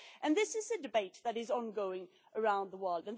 This is a debate that is ongoing around the world.